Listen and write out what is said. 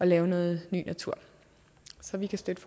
lave noget ny natur så vi kan støtte